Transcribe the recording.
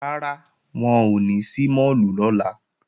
Rárá, wọn ò ní ṣí máàlù lọ́la